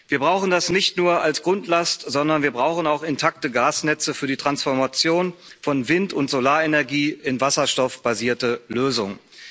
Wir brauchen das nicht nur als Grundlast, sondern wir brauchen auch intakte Gasnetze für die Transformation von Wind und Solarenergie in wasserstoffbasierte Lösungen.